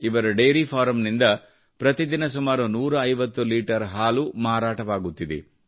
ಇವರ ಡೇರಿ ಫಾರಂನಿಂದ ಪ್ರತಿದಿನ ಸುಮಾರು 150 ಲೀಟರ್ ಹಾಲು ಮಾರಾಟವಾಗುತ್ತಿದೆ